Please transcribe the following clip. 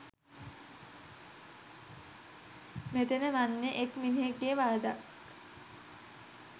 මෙතන වන්නේ එක් මිනිහෙක්ගේ වරදක්